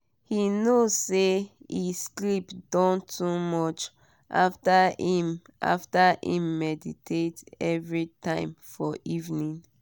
he know say e sleep don too much after him after him meditate every time for evening.